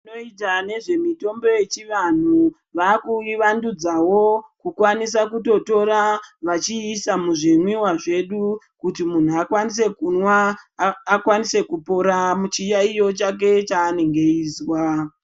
Toita nezve mitombo yechivantu vakuivandudzawo kukwanisa kutotora vachiisa muzvimwiwa zvedu kuti munhu akwanisa kupora muchiyaiyo chake chanenge achinzwa.